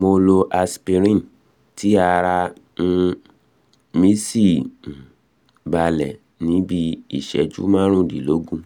mo lo aspirin tí ara um mí sì um balẹ̀ ní bí iìṣẹ́jú márùndínlógún